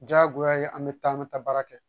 Diyagoya ye an bɛ taa an bɛ taa baara kɛ